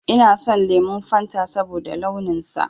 Ina son lemon Fanta saboda launin sa